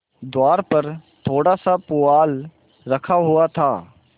द्वार पर थोड़ासा पुआल रखा हुआ था